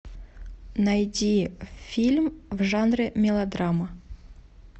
найди фильм в жанре мелодрама